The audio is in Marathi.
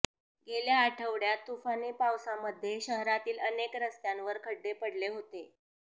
गेल्या आठवडय़ात तुफानी पावसामध्ये शहरातील अनेक रस्त्यांवर खड्डे पडले होते